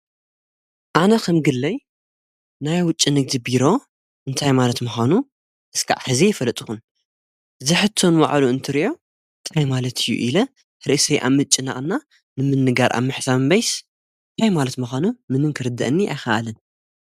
ኣነ ኸም ግለይ ናይ ውጭንግዝቢሮ እንታይ ማለት ምዃኑ እስከዕ ሕዚ ይፈለጥኹን ዝሕቶን ዋዕሉ እንትርእዮ እንታይ ማለት እዩ ኢለ ሕርእሰይ ኣምጭ ናእና ንምንጋር ኣብምሕሳምን በይስ እንታይ ማለት መዃኑ ምንምክርድአኒ ኣይኸኣልን ።